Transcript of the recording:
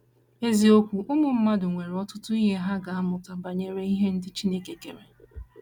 Eziokwu: Ụmụ mmadụ nwere ọtụtụ ihe ha ga - amụta banyere ihe ndị Chineke kere.